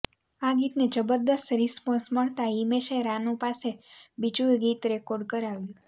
આ ગીતને જબરદસ્ત રિસપોન્સ મળતાં હિમેશે રાનૂ પાસે બીજું ગીત રેકોર્ડ કરાવ્યું